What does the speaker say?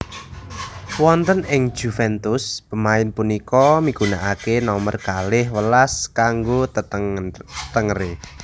Wonten ing Juventus pemain punika migunakake nomer kalih welas kanggo tetengere